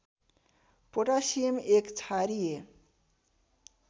potassium एक क्षारीय